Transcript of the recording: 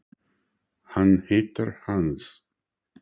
Hann heitir Hannes.